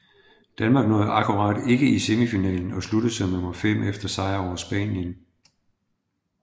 Danmark nåede akkurat ikke i semifinalen og sluttede som nummer 5 efter sejr over Spanien